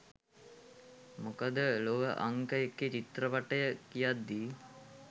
මොකද ලොව අංක එකේ චිත්‍රපටය කියද්දී